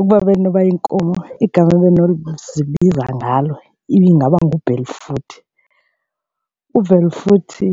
Ukuba bendinokuba yinkomo igama benozibiza ngalo ingaba nguBelfuthi, uVelfuthi